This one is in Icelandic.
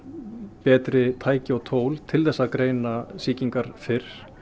betri tæki og tól til að greina sýkingar fyrr